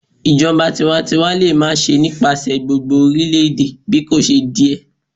Ijọba tiwantiwa le ma ṣe nipasẹ gbogbo orilẹ-ede bikoṣe diẹ